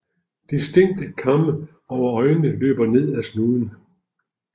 Distinkte kamme over øjnene løber ned ad snuden